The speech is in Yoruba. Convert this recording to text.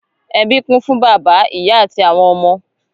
Ẹbí kún fún bàbá, ìyá àti àwọn ọmọ.